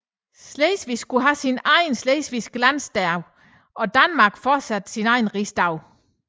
Slesvig skulle have sin egen slesvigske landdag og Danmark fortsat sin egen rigsdag